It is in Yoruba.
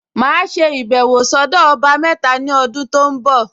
Màá ṣe ìbẹ̀wọ̀ sọ́dọ̀ ọba mẹ́ta ní ọdún tó ń bọ̀